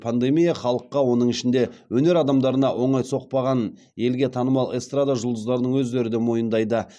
пандемия халыққа оның ішінде өнер адамдарына оңай соқпағанын елге танымал эстрада жұлдыздарының өздері де мойындайды